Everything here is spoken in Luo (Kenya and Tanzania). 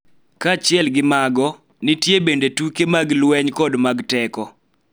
Kaachiel gi mago, nitie bende tuke mag lweny kod mag teko.